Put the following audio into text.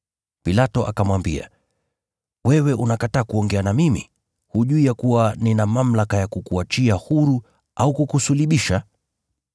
Pilato akamwambia, “Wewe unakataa kuongea na mimi? Hujui ya kuwa nina mamlaka ya kukuachia huru au kukusulubisha?”